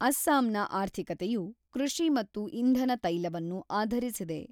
ಅಸ್ಸಾಂನ ಆರ್ಥಿಕತೆಯು ಕೃಷಿ ಮತ್ತು ಇಂಧನ ತೈಲವನ್ನು ಆಧರಿಸಿದೆ.